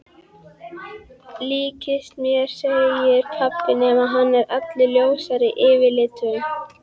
Líkist mér segir pabbi nema hann er allur ljósari yfirlitum.